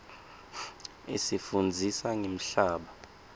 isifundzisa ngemhlaba